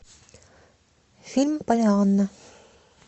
фильм поллианна